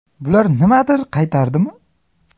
Bular nimadir qaytardimi?